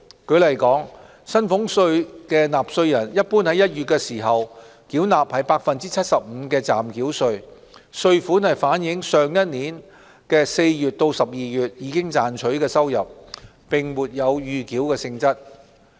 舉例說，薪俸稅納稅人一般於1月時繳納 75% 的暫繳稅，稅款是反映上一年4月至12月賺取的收入，並沒有預繳性質。